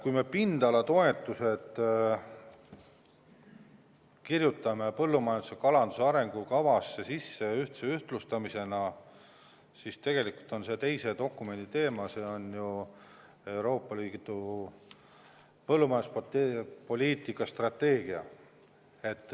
Kui me pindalatoetuste ühtlustamise kirjutaksime põllumajanduse ja kalanduse arengukavasse sisse –tegelikult on see teise dokumendi teema, see on Euroopa Liidu põllumajanduspoliitika strateegia.